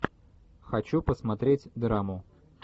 хочу посмотреть драму